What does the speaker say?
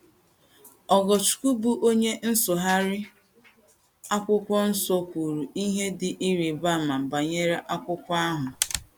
Ogochukwu, bụ́ onye nsụgharị akwụkwọ nsọ, kwuru ihe dị ịrịba ama banyere akwụkwọ ahụ.